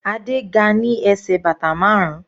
Adé ga ní bàtà ẹsẹ̀ márun.